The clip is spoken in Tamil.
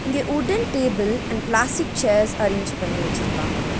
இங்க wooden table and plastic chairs arrange பண்ணி வச்சிருக்காங்க.